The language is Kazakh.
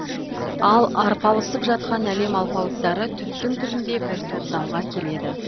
ал арпалысып жатқан әлем алпауыттары түптің түбінде бір тоқтамға келеді